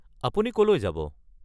আপুনি কলৈ যাব?